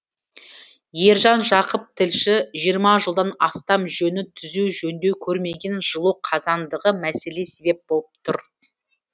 ержан жақып тілші жиырма жылдан астам жөні түзу жөндеу көрмеген жылу қазандығы мәселеге себеп болып тұр